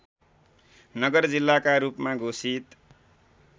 नगर जिल्लाका रूपमा घोषित